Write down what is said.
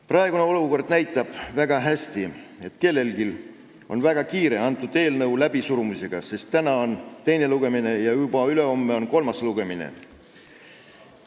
Praegune olukord näitab väga hästi, et kellelgi on väga kiire selle eelnõu läbisurumisega, sest täna on teine lugemine ja juba ülehomme on kolmas lugemine.